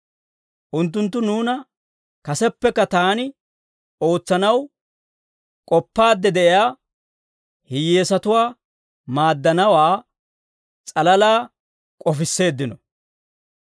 Unttunttu nuuna kaseppekka taani ootsanaw k'oppaadde de'iyaa hiyyeesatuwaa maaddanawaa s'alalaa k'ofisseeddino.